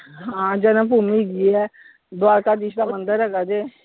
ਹਾਂ ਜਨਮ ਭੂਮੀ ਹੈਗੀ ਹੈ, ਦਵਾਰਕਾ ਦੀਸ਼ ਦਾ ਮੰਦਿਰ ਹੈਗਾ ਜੇ।